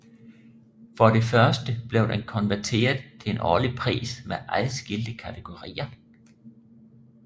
For det første blev den konverteret til en årlig pris med adskilte kategorier